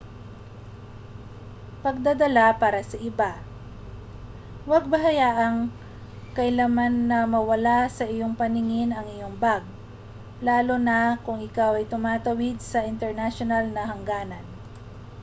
pagdadala para sa iba huwag hayaan kailanman na mawala sa iyong paningin ang iyong mga bag lalo na kung ikaw ay tumatawid sa mga internasyonal na hangganan